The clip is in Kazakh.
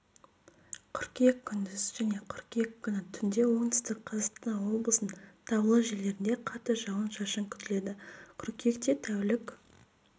қыркүйек күндіз және қыркүйек күні түнде оңтүстік қазақстан облысының таулы жерлерінде қатты жауын-шашын күтіледі қыркүйекте тәулік